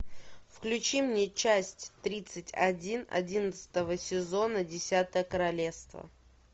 включи мне часть тридцать один одиннадцатого сезона десятое королевство